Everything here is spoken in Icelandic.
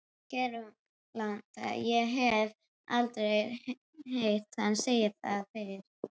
Kverúlantar- ég hef aldrei heyrt hana segja það fyrr.